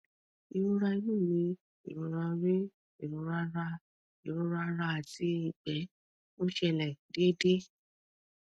ìrora inú mi ìrora orí ìrora ara ìrora ara àti ìgbẹ ń ṣẹlẹ déédéé